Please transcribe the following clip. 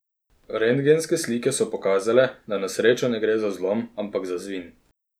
Rentgenske slike so pokazale, da na srečo ne gre za zlom, ampak za zvin.